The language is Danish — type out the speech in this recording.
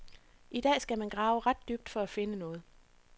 I dag skal man grave ret dybt for at finde noget.